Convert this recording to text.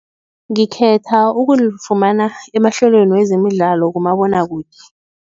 Ngikhetha ukulifumana emahlelweni wezemidlalo kumabonwakude.